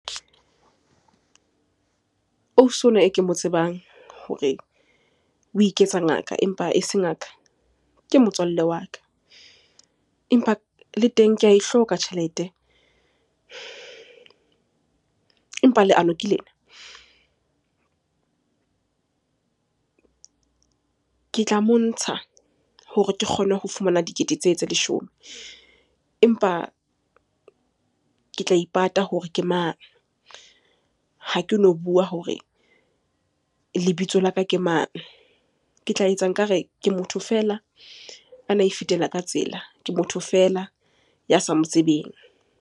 Ausi onwa e ke mo tsebang hore o iketsa ngaka empa e se ngaka, ke motswalle wa ka. Empa le teng ke a e hloka tjhelete, empa leano ke lena. Ke tla montsha hore ke kgone ho fumana dikete tsee tse leshome, empa ke tla ipata hore ke mang? Ha ke no bua hore lebitso la ka ke mang? Ke tla etsa nkare ke motho feela ana e fetela ka tsela, ke motho feela ya sa mo tsebeng.